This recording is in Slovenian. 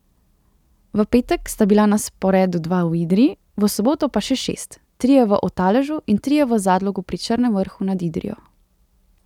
V petek sta bila na sporedu dva v Idriji, v soboto pa še šest, trije v Otaležu in trije v Zadlogu pri Črnem Vrhu nad Idrijo.